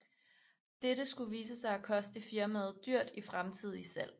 Dette skulle vise sig at koste firmaet dyrt i fremtidige salg